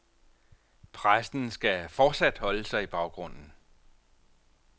Pressen skal fortsat holde sig i baggrunden.